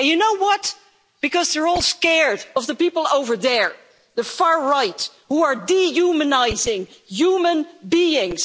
And you know what, because they're all scared of the people over there the far right who are dehumanising human beings.